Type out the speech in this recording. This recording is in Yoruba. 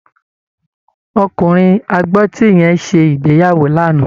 Ọkùnrin agbọ́tí yẹn ṣe ìgbéyàwó lánàá